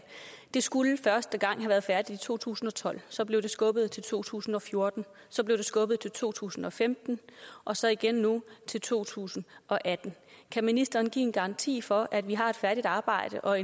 det skulle første gang have været færdigt i to tusind og tolv så blev det skubbet til to tusind og fjorten så blev det skubbet til to tusind og femten og så igen nu til to tusind og atten kan ministeren give en garanti for at vi har et færdigt arbejde og